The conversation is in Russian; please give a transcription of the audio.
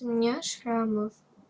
меня шрамов